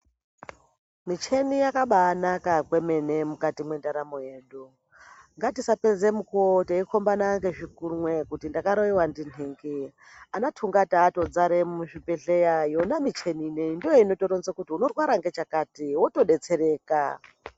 Mucheni yakabaanaka kwemene mukati mwendaramo yedu ngatisapedze mukuwo teikombana ngezvikunwe kuti ndakaroiwa ndintingi ana tungata atodzare muzvibhedhleya yona micheni ineyi ndoinotoronze kuti unorwara ngechakati wotodetsereka.